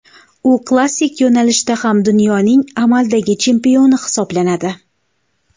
U klassik yo‘nalishda ham dunyoning amaldagi chempioni hisoblanadi.